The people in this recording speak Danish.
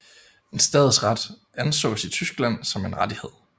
En stadsret ansås i Tyskland som en rettighed